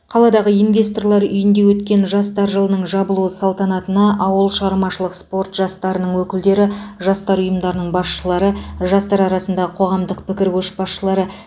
қаладағы инвесторлар үйінде өткен жастар жылының жабылуы салтанатына ауыл шығармашылық спорт жастарының өкілдері жастар ұйымдарының басшылары жастар арасындағы қоғамдық пікір көшбасшылары